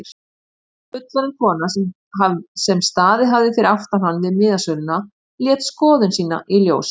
Fullorðin kona sem staðið hafði fyrir aftan hann við miðasöluna lét skoðun sína í ljós.